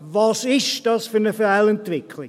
Was ist das für eine Fehlentwicklung?